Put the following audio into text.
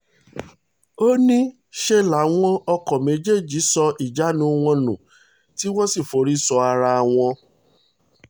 ó ó ní ṣe làwọn ọkọ̀ méjèèjì sọ ìjánu wọn nù tí wọ́n sì forí sọ ara wọn